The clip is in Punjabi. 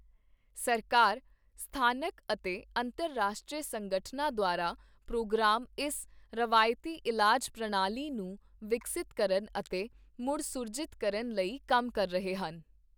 ਸਰਕਾਰ, ਸਥਾਨਕ ਅਤੇ ਅੰਤਰਰਾਸ਼ਟਰੀ ਸੰਗਠਨਾਂ ਦੁਆਰਾ ਪ੍ਰੋਗਰਾਮ ਇਸ ਰਵਾਇਤੀ ਇਲਾਜ ਪ੍ਰਣਾਲੀ ਨੂੰ ਵਿਕਸਤ ਕਰਨ ਅਤੇ ਮੁੜ ਸੁਰਜੀਤ ਕਰਨ ਲਈ ਕੰਮ ਕਰ ਰਹੇ ਹਨ।